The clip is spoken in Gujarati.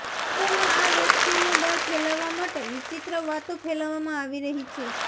લોકોમાં આ વેક્સીનનો ડર ફેલાવવા માટે વિચિત્ર વાતો ફેલાવવામાં આવી રહી છે